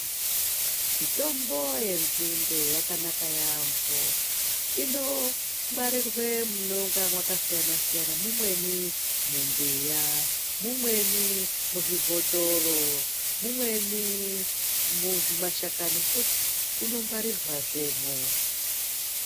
Mitombo yenzinde yakanaka yaamho. Inongwarirwe munonga mwakasiyana siyana. Umweni mumbiya, umweni muzvibhothoro, umweni muzvimashakani futi unongwarirwazvemwo.